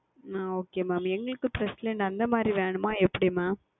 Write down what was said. ஆஹ் Okay Mam எங்களுக்கு President அந்த மாதிரி வேண்டுமா இல்லை எப்படி Mam